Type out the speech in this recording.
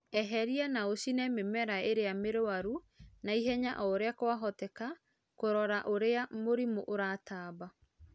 Eheria na ũcine mĩmera ĩrĩa mĩrũaru na ihenya ũrĩa kwahoteka kũrora ũrĩa mũrimũ ũratamba